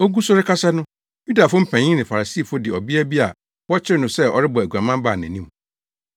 Ogu so rekasa no, Yudafo mpanyin ne Farisifo de ɔbea bi a wɔkyeree no sɛ ɔrebɔ aguaman baa nʼanim.